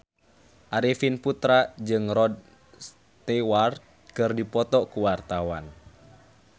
Arifin Putra jeung Rod Stewart keur dipoto ku wartawan